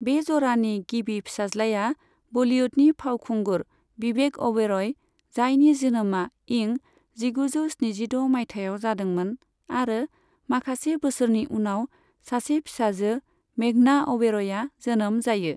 बे जरानि गिबि फिसाज्लाया बलीवुडनि फावखुंगुर बिबेक अ'बेरय, जायनि जोनोमा इं जिगुजौ स्निजिद' माइथायाव जादोंमोन आरो माखासे बोसोरनि उनाव सासे फिसाजो मेघना अ'बेरयआ जोनोम जायो।